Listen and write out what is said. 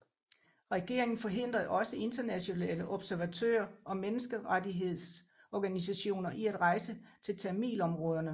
Regeringen forhindrede også internationale observatører og menneskerettighedsorganisationer i at rejse til tamilområderne